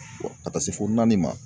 ka taa se fo naani ma.